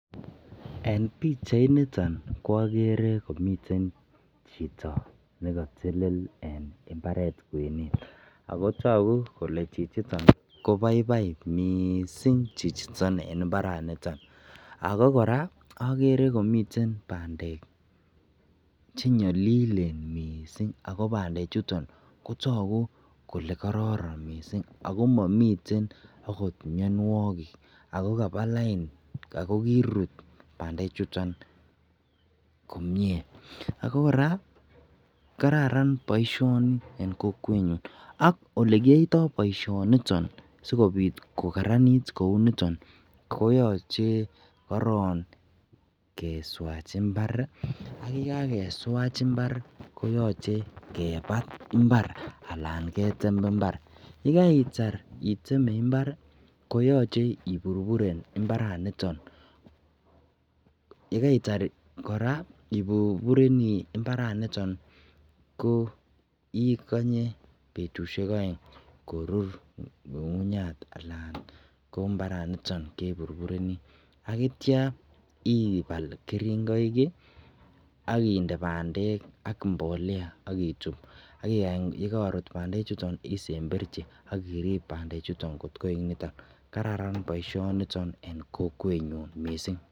En bichait niton kwagere Kole miten Chito nikatelele en imbaret kwenet akotaku Kole chichiton kobaibai mising chichiton en imbaraniton mising akokoraa agere komiten bandek chenyalilen mising akobandek chuton Kotaku Kole kararan mising akomiten okot mianwagik akokabalain akokirut bandek chuton komie ako koraa kararan baishoni en kokwenyu akolekiyoitoi baishoniton sikobit kokaranit Kouniton koyache koron keswach imbar ak yekakeswach imbar koyache kebat imbar anan ketem imbar yekaitar item imbar koyache iburburen imbaraniton yekaitar iburburen koikwnye betushek aeng korur imbaraniton anan ko ngungunyat en imbaret niton akiyai ibal keringoi akinde bandek ako mbolea akituch akakany korut bandek isemberchi agirib bandek chuton koechekitun akokararan baishoniton mising.